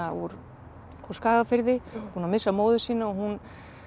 úr Skagafirði búin að missa móður sína og hún